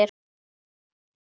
Dvölin byrjaði ekki vel.